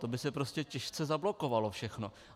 To by se prostě těžce zablokovalo všechno.